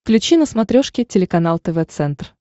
включи на смотрешке телеканал тв центр